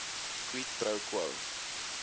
quid pro quo